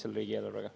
Martin Helme, palun!